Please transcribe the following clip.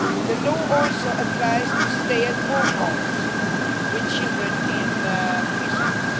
The law also applies to stay at home mothers with children in preschool.